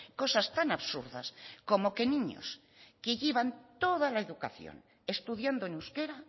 cosas tan absurdas como que niños que llevan toda la educación estudiando en euskera